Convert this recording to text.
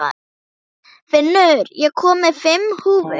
Finnur, ég kom með fimm húfur!